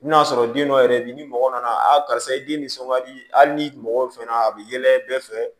N bɛna sɔrɔ den dɔ yɛrɛ bɛ yen ni mɔgɔ nana a karisa i den nisɔn ka di hali ni mɔgɔ fɛnɛ a bɛ yɛlɛ bɛɛ fɛ